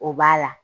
O b'a la